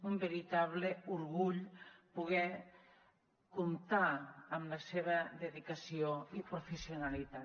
un veritable orgull poder comptar amb la seva dedicació i professionalitat